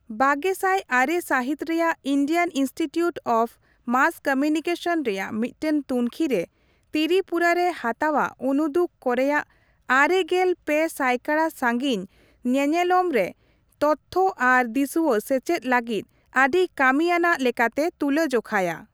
ᱵᱟᱨᱜᱮᱥᱟᱭ ᱟᱨᱮ ᱥᱟᱹᱦᱤᱛ ᱨᱮᱭᱟᱜ Indian institute of mass communication ᱨᱮᱭᱟᱜ ᱢᱤᱫᱴᱮᱱ ᱛᱩᱝᱠᱷᱤ ᱨᱮ, ᱛᱤᱨᱤᱯᱩᱨᱟ ᱨᱮ ᱦᱟᱛᱟᱣᱟᱜ ᱩᱱᱩᱫᱩᱜ ᱠᱚᱨᱮᱭᱟᱜ ᱟᱨᱮᱜᱮᱞ ᱯᱮ ᱥᱟᱭᱠᱟᱲᱟ ᱥᱟᱺᱜᱤᱧ ᱧᱮᱱᱮᱞᱚᱢ ᱨᱮ ᱛᱚᱛᱛᱷᱚ ᱟᱨ ᱫᱤᱥᱣᱟᱹ ᱥᱮᱪᱮᱫ ᱞᱟᱹᱜᱤᱫ ᱟᱹᱰᱤ ᱠᱟᱹᱢᱤ ᱟᱱᱟᱜ ᱞᱮᱠᱟᱛᱮ ᱛᱩᱞᱟᱹ ᱡᱚᱠᱷᱟᱭᱟ ᱾